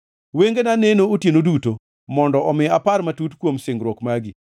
Wengena neno otieno duto, mondo omi apar matut kuom singruok magi.